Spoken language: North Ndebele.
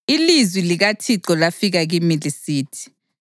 Ilizwi likaThixo lafika kimi lisithi: